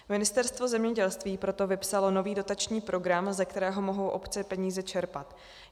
Ministerstvo zemědělství proto vypsalo nový dotační program, ze kterého mohou obce peníze čerpat.